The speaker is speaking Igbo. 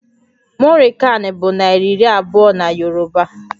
Muri kan bụ naira iri abụọ na Yoruba